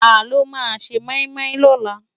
Tàló má sé moimoi lòlá?